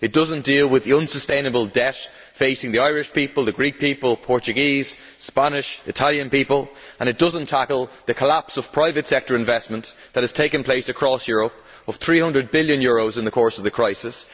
It does not deal with the unsustainable debt facing the Irish people, the Greek people, the Portuguese, Spanish, Italian people, and it does not tackle the collapse of private sector investment that has taken place across Europe of EUR 300 billion in the course of the crisis.